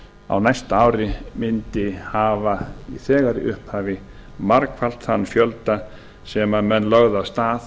á næsta ári mundi hafa þegar í upphafi margfalt þann fjölda sem menn lögðu af stað